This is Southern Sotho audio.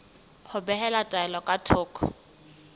ho behela taelo ka thoko